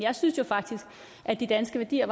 de